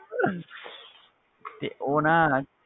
ਤੇ ਉਹ ਨਾ,